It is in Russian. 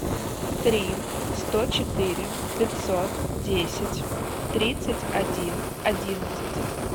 три сто четыре пятьсот десять тридцать один одиннадцать